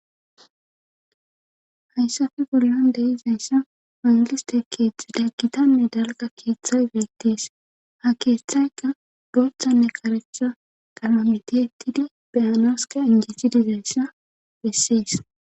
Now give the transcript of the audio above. hayssafe bollan deizayssa mangiiste keeththi daggitanne dalga keeththay geettees ha keeththaykka gooththanne karecha talamitiettidi biyanaoska injiti dizayssa bessees